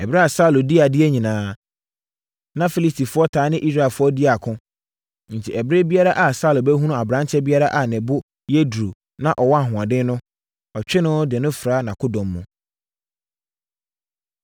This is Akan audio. Ɛberɛ a Saulo dii adeɛ nyinaa, na Filistifoɔ taa ne Israelfoɔ di ako. Enti ɛberɛ biara a Saulo bɛhunu aberanteɛ biara a ne bo yɛ duru na ɔwɔ ahoɔden no, ɔtwe no de no fra nʼakodɔm mu.